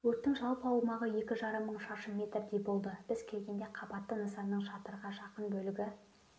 өрттің жалпы аумағы екі жарым мың шаршы метрдей болды біз келгенде қабатты нысанның шатырға жақын бөлігі